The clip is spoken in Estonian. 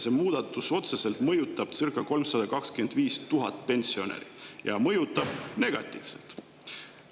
See muudatus mõjutab otseselt circa 325 000 pensionäri ja mõjutab neid negatiivselt.